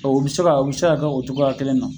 o be se ka o be se ka kɛ o togoya kelen na